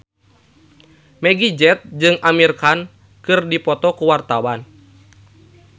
Meggie Z jeung Amir Khan keur dipoto ku wartawan